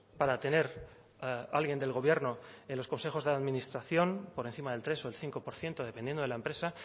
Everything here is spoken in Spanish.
para tener alguien del gobierno en los consejos de administración por encima del tres o del cinco por ciento dependiendo de la empresa